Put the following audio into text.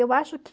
Eu acho